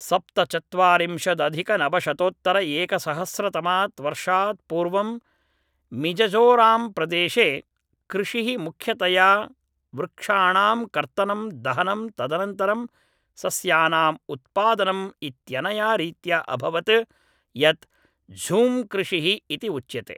सप्तचत्वारिंशदधिकनवशतोत्तरएकसहस्रतमात् वर्षात् पूर्वं मिजजोरम्प्रदेशे कृषिः मुख्यतया वृक्षाणां कर्तनं दहनं तदनन्तरं सस्यानाम् उत्पादनम् इत्यनया रीत्या अभवत् यत् झूम्कृषिः इति उच्यते